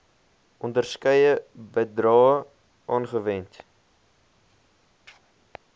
onderskeie bedrae aangewend